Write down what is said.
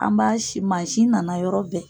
An b'a si, mansi nana yɔrɔ bɛɛ.